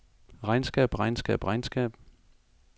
regnskab regnskab regnskab